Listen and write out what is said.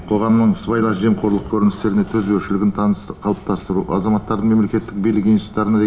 қоғамның сыбайлас жемқорлық көріністеріне төзбеушілігін таныс қалыптастыру азаматтардың мемлекет билік институттарына